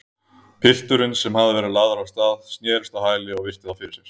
Pilturinn, sem hafði verið lagður af stað, snerist á hæli og virti þá fyrir sér.